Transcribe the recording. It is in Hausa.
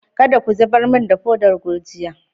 Kadda ka zubar mun da podan gurjiya!